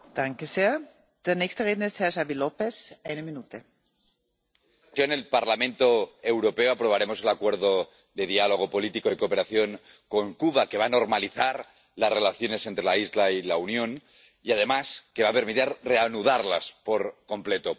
Señora presidenta, en el Parlamento Europeo aprobaremos el Acuerdo de Diálogo Político y de Cooperación con Cuba, que va a normalizar las relaciones entre la isla y la Unión y, además, que va a permitir reanudarlas por completo.